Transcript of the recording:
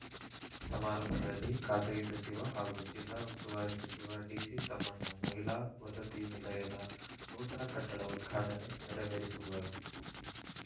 ಸಮಾರಂಭದಲ್ಲಿ ಖಾಸಗಿ ಸಚಿವ ಹಾಗೂ ಜಿಲ್ಲಾ ಉಸ್ತುವಾರಿ ಸಚಿವ ಡಿಸಿ ತಮ್ಮಣ್ಣ ಮಹಿಳಾ ವಸತಿ ನಿಲಯದ ನೂತನ ಕಟ್ಟಡ ಉದ್ಘಾಟನೆ ನೆರವೇರಿಸುವರು